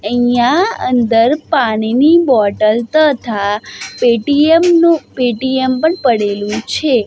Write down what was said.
અહીંયા અંદર પાણીની બોટલ તથા પેટીએમ નું પેટીએમ પણ પડેલું છે.